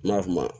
N ma f'i ma